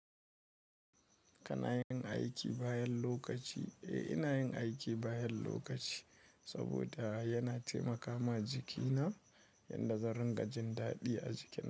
Kana yin aiki bayan lokaci? Eh, ina yin aiki bayan lokaci, saboda yana taimakama jikina yadda zan riƙa jin daɗi a jikina.